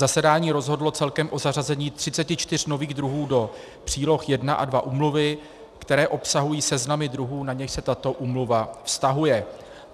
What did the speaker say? Zasedání rozhodlo celkem o zařazení 34 nových druhů do příloh I a II úmluvy, které obsahují seznamy druhů, na něž se tato úmluva vztahuje.